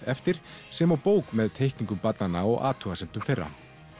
eftir sem og bók með teikningum barnanna og athugasemdum þeirra